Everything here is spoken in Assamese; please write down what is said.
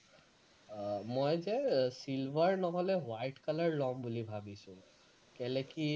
আহ মই যে silver নহলে white color লম বুলি ভাৱিছো, কেলৈ কি